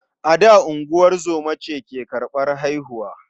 A da, ungozoma ce ke karɓar haihuwa.